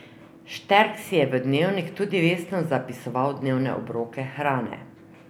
Šterk si je v dnevnik tudi vestno zapisoval dnevne obroke hrane.